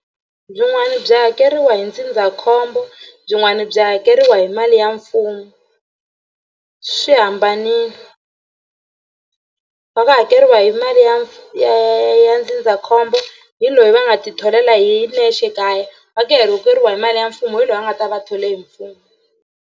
Byin'wani byi hakeriwa hi ndzindzakhombo byin'wana byi hakeriwa hi mali ya mfumo swi hambanini va nga hakeriwa hi mali ya ya ya ya ndzindzakhombo hi loyi va nga titholela hi nexe kaya va ku hi mali ya mfumo hi loyi a nga ta va a thole hi mfumo.